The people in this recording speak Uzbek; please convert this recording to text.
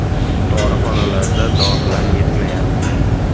Dorixonalarda dorilar yetmayapti.